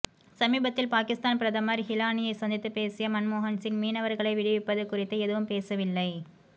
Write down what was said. சமீபத்தில் பாகிஸ்தான் பிரதமர் ஹிலானியை சந்தித்து பேசிய மன்மோகன் சிங் மீனவர்களை விடுவிப்பது குறித்து எதுவும் பேசவில்லை